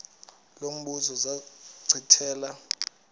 lo mbuzo zachithela